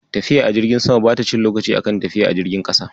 Tafiya a jirgin sama bata cin lokaci a kan tafiya a jirgin ƙasa.